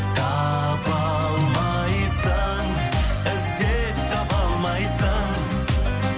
таба алмайсың іздеп таба алмайсың